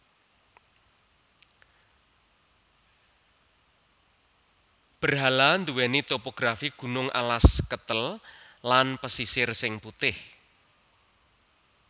Berhala nduwèni topografi gunung alas ketel lan pesisir sing putih